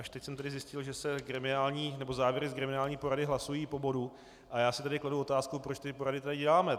Až teď jsem tedy zjistil, že se závěry z gremiální porady hlasují po bodu, a já si tedy kladu otázku, proč ty porady tady děláme.